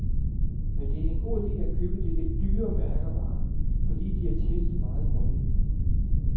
Men det er en god ide at købe de lidt dyrere mærkevarer, fordi de er testet meget grundigt.